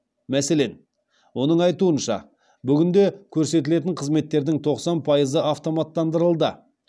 мәселен оның айтуынша бүгінде көрсетілетін қызметтердің тоқсан пайызы автоматтандырылды